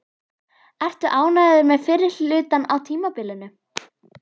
Ertu ánægður með fyrri hlutann á tímabilinu?